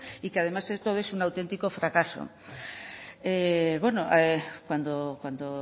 y que además de todo eso es un auténtico fracaso bueno cuando